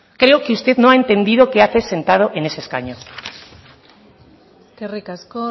creo que usted no ha entendido qué hace sentado en ese escaño eskerrik asko